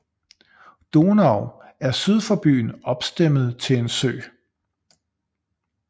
Donau er syd for byen opstemmet til en sø